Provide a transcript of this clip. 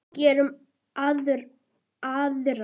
Gerum aðra.